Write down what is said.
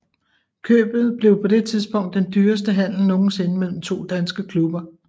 Købet blev på det tidspunkt den dyreste handel nogensinde mellem to danske klubber